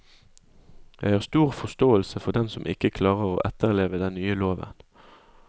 Jeg har stor forståelse for dem som ikke klarer å etterleve den nye loven.